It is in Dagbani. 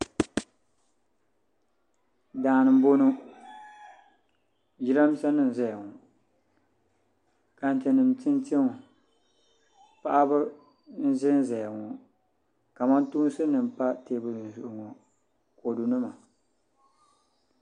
Daani n boŋo jiranbiisa nim n ʒɛya ŋo tantɛ nim n tinti ŋo paɣaba n ʒɛnʒɛya ŋo kamantoosi nim n pa teebuli zuɣu ŋo ni kodu nima